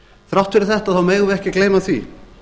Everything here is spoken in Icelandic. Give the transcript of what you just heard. þrátt fyrir þetta megum við ekki gleyma því